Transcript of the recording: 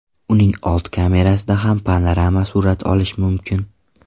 Uning old kamerasida ham panorama surat olish mumkin.